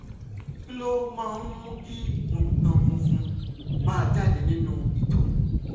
kí ló máa ń mú kí nǹkan funfun máa jáde nínú ìtọ̀?